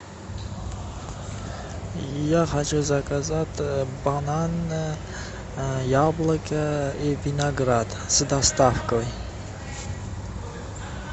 я хочу заказать бананы яблоки и виноград с доставкой